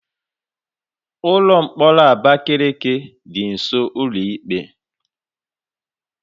Ụlọ mkpọrọ Abakaliki dị nsọ ụlọ ikpe